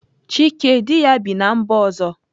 Chike di ya bi na mba ọzọ.